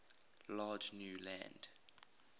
large new land